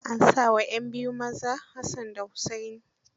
An sa wa 'yan biyun maza Hassan da Hussaini.